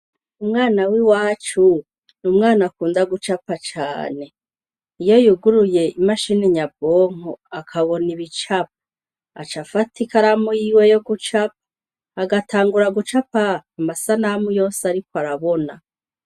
Umwana w'i wacu ni umwana akunda gucapa cane iyo yuguruye imashini nyabonko akabona ibicapa aca afata i karamu yiwe yo gucapa agatangura gucapa amasanamu yose, ariko arabona.